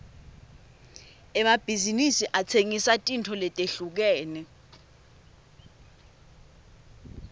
emabhizinsi atsengisa tintfo letehlukene